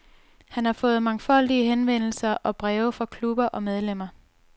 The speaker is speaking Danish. Han har fået mangfoldige henvendelser og breve fra klubber og medlemmer.